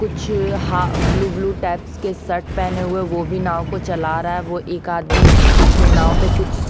कुछ हा blue blue types के शर्ट पहने हुए वो भी नाव को चला रहा है वो एक आदमी अपने नाव पे कुछ --